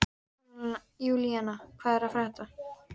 Júlína, hvað er að frétta?